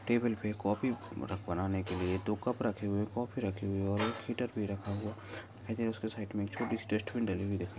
table पर coffee बनाने के लिए दो कप रखे हुए है कॉफ़ी रखी हुई है हीटर भी रखा हुआ है उसके साइड मे छोटी डस्टबीन डली हुई दिखाई --